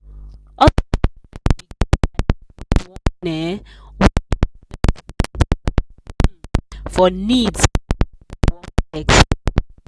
husband and wife begin fight because one um wan use 70 percent of salary um for needs while the other wan flex small.